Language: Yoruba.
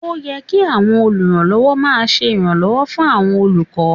Ó yẹ kí àwọn olùrànlọ́wọ́ máa ṣe ìrànwọ́ fún àwọn olùkọ́